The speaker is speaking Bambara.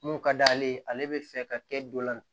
Mun ka d'ale ye ale bɛ fɛ ka kɛ dɔ la